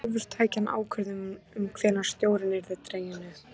Sjálfur tæki hann ákvörðun um hvenær stjórinn yrði dreginn upp.